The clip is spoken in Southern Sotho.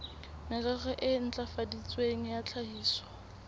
merero e ntlafaditsweng ya tlhahiso